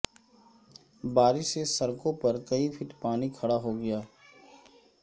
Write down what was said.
بارش سے سڑکوں پر کئی فٹ پانی کھڑا ہو گیا